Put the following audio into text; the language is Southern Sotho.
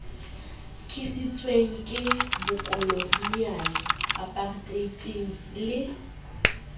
tlisitsweng ke bokoloniale aparteite le